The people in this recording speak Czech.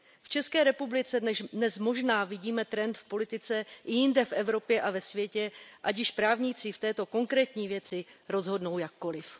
V České republice dnes možná vidíme trend v politice, i jinde v Evropě a ve světě, ať již právníci v této konkrétní věci rozhodnou jakkoliv.